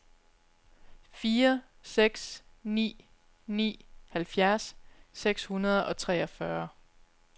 fire seks ni ni halvfjerds seks hundrede og treogfyrre